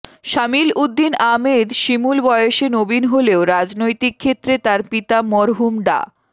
সামিল উদ্দিন আহমেদ শিমুল বয়সে নবীণ হলেও রাজনৈতিক ক্ষেত্রে তার পিতা মরহুম ডা